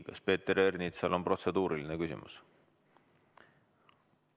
Kas Peeter Ernitsal on protseduuriline küsimus?